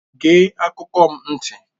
Gee akụkọ m ntị!